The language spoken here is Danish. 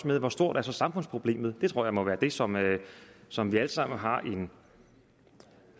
med hvor stort samfundsproblemet så det tror jeg må være det som som vi alle sammen har en